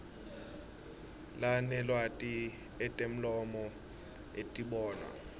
lanelwati etemlomo etibonwa